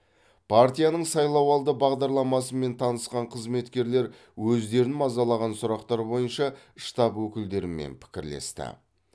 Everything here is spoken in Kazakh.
партияның сайлауалды бағдарламасымен танысқан қызметкерлер өздерін мазалаған сұрақтар бойынша штаб өкілдерімен пікірлесті